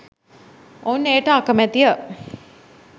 ඔවුන් එයට අකමැති ය